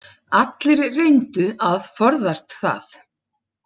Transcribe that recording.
Allir reyndu að forðast það.